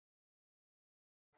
Björk mín.